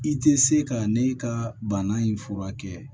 I tɛ se ka ne ka bana in fura kɛ